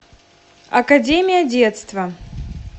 академия детства